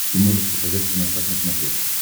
ты можешь показать киносат на смотрешке